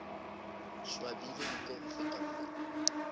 swabile nko ho feta molomo